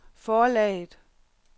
forlaget